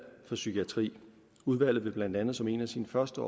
for psykiatri udvalget vil blandt andet som en af sine første